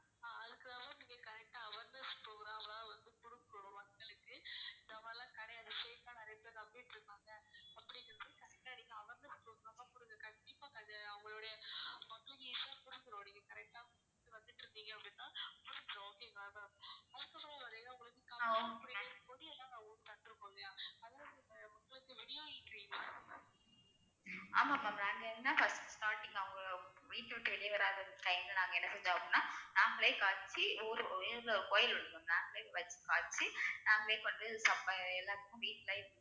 ஆமாம் ma'am நாங்க என்ன first starting அவங்க வீட்டை விட்டு வெளிய வராத time ல நாங்க என்ன செஞ்சோம் அப்படின்னா நாங்களே எல்லாத்துக்கும் வீட்ல